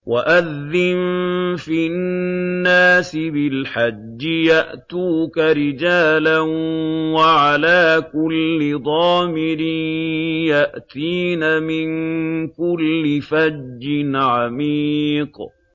وَأَذِّن فِي النَّاسِ بِالْحَجِّ يَأْتُوكَ رِجَالًا وَعَلَىٰ كُلِّ ضَامِرٍ يَأْتِينَ مِن كُلِّ فَجٍّ عَمِيقٍ